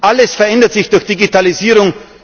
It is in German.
Alles verändert sich durch Digitalisierung.